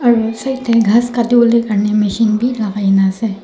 dhy khass kati bole garne machine beh lakaina ase.